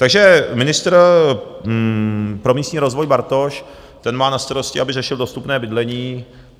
Takže ministr pro místní rozvoj Bartoš, ten má na starosti, aby řešil dostupné bydlení.